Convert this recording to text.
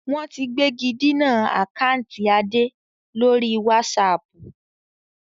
Wọ́n ti gbégidinà àkántì Adé lórí wásààpù